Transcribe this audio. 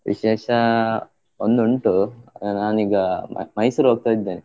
ವಿಶೇಷ ಒಂದು ಉಂಟು, ಆ ನಾನೀಗ Mysore ಹೋಗ್ತಾ ಇದ್ದೇನೆ.